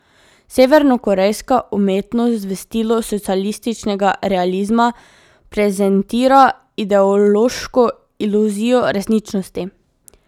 Severnokorejska umetnost v stilu socialističnega realizma prezentira ideološko iluzijo resničnosti.